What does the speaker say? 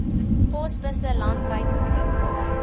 posbusse landwyd beskikbaar